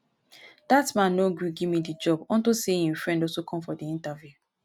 dat man no agree give me the job unto say im friend also come for the interview